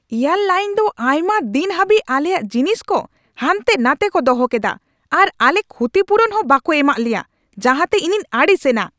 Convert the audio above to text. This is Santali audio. ᱮᱭᱟᱨ ᱞᱟᱹᱭᱤᱱ ᱫᱚ ᱟᱭᱢᱟ ᱫᱤᱱ ᱦᱟᱹᱵᱤᱡᱽ ᱟᱞᱮᱭᱟᱜ ᱡᱤᱱᱤᱥ ᱠᱚ ᱦᱟᱱᱛᱮ ᱱᱟᱛᱮ ᱠᱚ ᱫᱚᱦᱚ ᱠᱮᱫᱟ ᱟᱨ ᱟᱞᱮ ᱠᱷᱩᱛᱤᱯᱩᱨᱩᱱ ᱦᱚᱸ ᱵᱟᱠᱚ ᱮᱢᱟᱜ ᱞᱮᱭᱟ, ᱡᱟᱦᱟᱸᱛᱮ ᱤᱧᱤᱧ ᱟᱹᱲᱤᱥ ᱮᱱᱟ ᱾